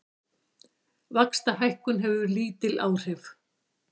Vaxtahækkun hefur lítil áhrif